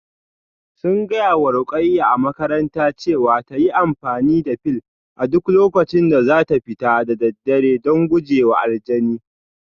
Sun gaya wa Ruqayyah a makarantarta cewa ta yi amfani da fil a duk lokacin da za ta fita da daddare don guje wa aljanin